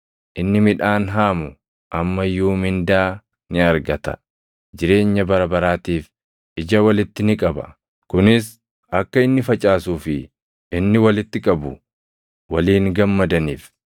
Inni midhaan haamu amma iyyuu mindaa ni argata; jireenya bara baraatiif ija walitti ni qaba; kunis akka inni facaasuu fi inni walitti qabu waliin gammadaniif.